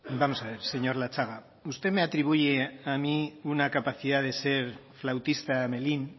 vamos a ver señor latxaga usted me atribuye a mí una capacidad de ser flautista de hamelín